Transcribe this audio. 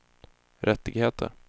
rättigheter